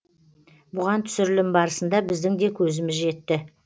бұған түсірілім барысында біздің де көзіміз жетті